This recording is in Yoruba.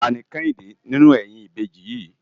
Táni Kehinde ninú èyin ibéji yi?